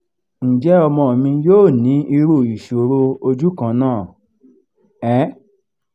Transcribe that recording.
njẹ ọmọ mi yo ni iru isoro oju kan na? um